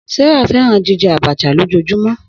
Sarah fẹran jijẹ Abacha lojoojumọ.